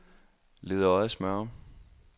Ledøje-Smørum